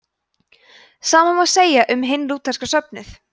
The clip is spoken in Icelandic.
sama má segja um hinn lútherska söfnuð